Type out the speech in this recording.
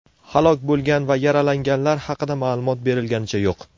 Halok bo‘lgan va yaralanganlar haqida ma’lumot berilganicha yo‘q.